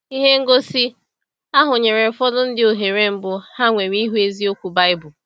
Ihe ngosi ahụ nyere ụfọdụ ndị ohere mbụ ha nwere ịhụ eziokwu Baịbụl.